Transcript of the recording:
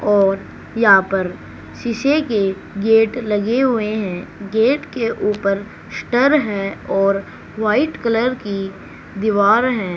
और यहां पर शीशे के गेट लगे हुए हैं गेट के ऊपर स्टर हैं और वाइट कलर की दीवार है।